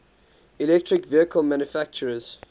electric vehicle manufacturers